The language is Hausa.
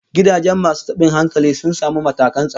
Gidajen masu tabin hankalin sun samu matakan tsaro